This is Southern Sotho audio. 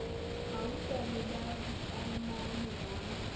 gauta le ya ditaemane ba